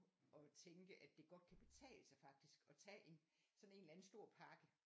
Og tænke at det godt kan betale sig faktisk at tage en sådan en eller anden stor pakke